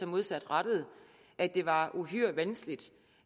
modsatrettede at det var uhyre vanskeligt